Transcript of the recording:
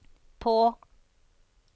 på